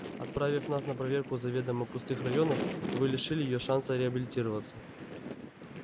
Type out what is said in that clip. отправив нас на проверку заведомо пустых районов вы лишили её шанса реабилитироваться